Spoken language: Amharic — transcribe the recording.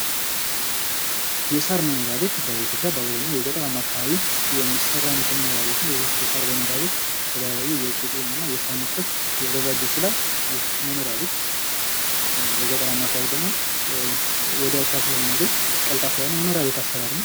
የሳር መኖሪያ ቤት በኢትዮጵያ በአብዛኛው የገጠራማ አካባቢ የሚሰራ አይነት የመኖሪያ ቤት ነው። ይህ የሳር መኖርያ ቤት ከተለያዩ የቄጤማ እና የሣር ምርቶች ሊዘጋጅ ይችላል። ይህ መኖሪያ ቤት ለገጠራማ አከባቢዎች ደግሞ ወዲያው ስለምናገኝ ቀልጣፋ የሆነ የመኖሪያ ቤት አሰራር ነው።